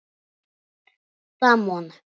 Matt Damon.